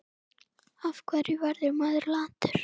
Af hverju verður maður latur?